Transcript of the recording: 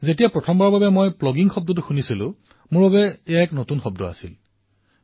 যেতিয়া মই প্ৰথমবাৰ প্লগিং শব্দৰ বিষয়ে শুনিলো সেয়া মোৰ বাবে নতুন শব্দ আছিল